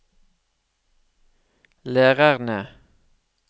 lærerne